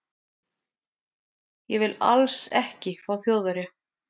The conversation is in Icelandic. Ég vil ALLS ekki fá Þjóðverja.